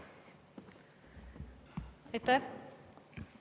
Aitäh!